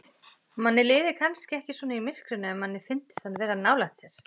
Manni liði kannski ekki svona í myrkrinu ef manni fyndist hann vera nálægt sér.